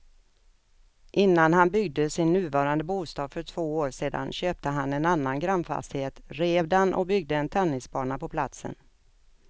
Innan han byggde sin nuvarande bostad för två år sedan köpte han en annan grannfastighet, rev den och byggde en tennisbana på platsen.